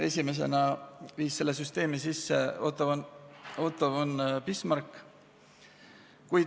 Esimesena kehtestas sellise süsteemi Otto von Bismarck.